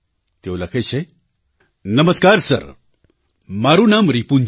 તેઓ લખે છે નમસ્કાર સર મારું નામ રિપુન છે